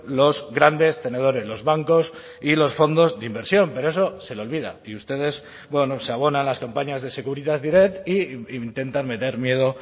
los grandes tenedores los bancos y los fondos de inversión pero eso se le olvida y ustedes bueno se abonan a las campañas de securitas direct e intentan meter miedo